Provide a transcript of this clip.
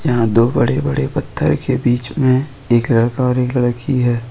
यहां दो बड़े बड़े पत्थर के बीच में एक लड़का और एक लड़की है।